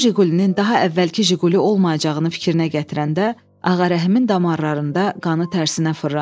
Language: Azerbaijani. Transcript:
Bu Jiqulinin daha əvvəlki Jiquqili olmayacağını fikrinə gətirəndə Ağarəhimin damarlarında qanı tərsinə fırlandı.